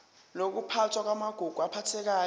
nokuphathwa kwamagugu aphathekayo